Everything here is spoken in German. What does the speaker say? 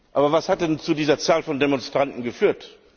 Aber was hat denn zu dieser Zahl von Demonstranten geführt?